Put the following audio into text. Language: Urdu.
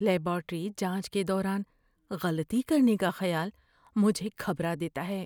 لیباریٹری جانچ کے دوران غلطی کرنے کا خیال مجھے گھبرا دیتا ہے۔